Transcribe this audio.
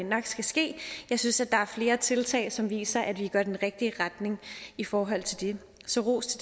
nok skal ske jeg synes at der er flere tiltag som viser at vi går i den rigtige retning i forhold til det så ros